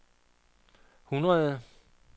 hundrede